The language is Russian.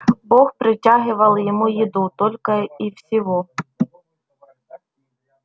бог протягивал ему еду только и всего